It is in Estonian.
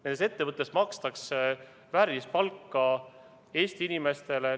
Nendes ettevõtetes makstakse väärilist palka Eesti inimestele.